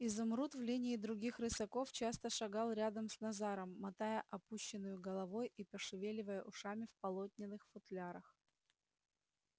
изумруд в линии других рысаков часто шагал рядом с назаром мотая опущенную головой и пошевеливая ушами в полотняных футлярах